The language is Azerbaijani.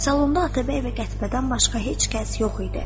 Salonda Atabəy və Qətibədən başqa heç kəs yox idi.